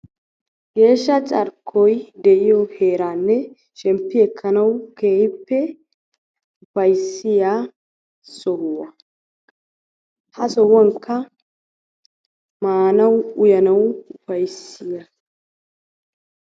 Geeshsha carkkoy de'iyo heeran shemppi ekkanawu keehippe ufayssiya sohuwa. Ha sohuwankka maanawu uyanaw ufayssiya.